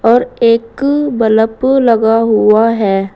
और एक बल्ब लगा हुआ है।